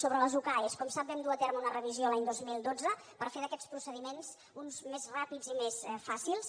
sobre les ucae com ho sap vam dur a terme una revisió l’any dos mil dotze per fer d’aquests procediments uns més ràpids i més fàcils